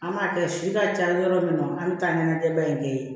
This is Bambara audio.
An b'a kɛ si ka ca yɔrɔ min na an bɛ taa ɲɛnajɛba in kɛ yen